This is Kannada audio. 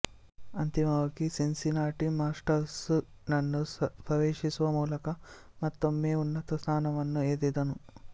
ಅಂತಿಮವಾಗಿ ಸಿನ್ಸಿನಾಟಿ ಮಾಸ್ಟರ್ಸ್ ನನ್ನು ಪ್ರವೇಶಿಸುವ ಮೂಲಕ ಮತ್ತೊಮ್ಮೆ ಉನ್ನತ ಸ್ಥಾನವನ್ನು ಏರಿದನು